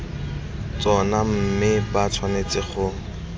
tsona mme ba tshwanetse go